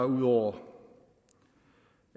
ud over